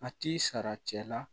A t'i sara cɛ la